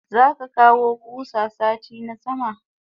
Zaka kawo kusa sati na sama?